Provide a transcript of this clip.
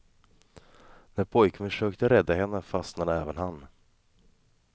När pojken försökte rädda henne fastnade även han.